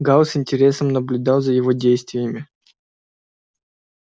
гаал с интересом наблюдал за его действиями